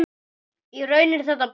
Í raun er þetta bæn.